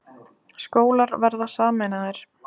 Skólar verða sameinaðir